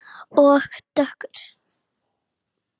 Og dökkur.